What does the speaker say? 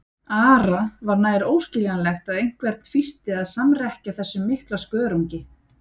Ara var nær óskiljanlegt að einhvern fýsti að samrekkja þessum mikla skörungi.